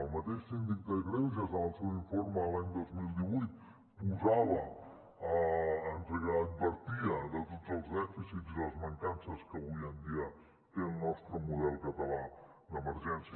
el mateix síndic de greuges en el seu informe de l’any dos mil divuit advertia de tots els dèficits i de les mancances que avui en dia té el nostre model català d’emergències